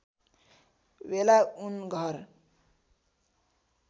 वेला उन घर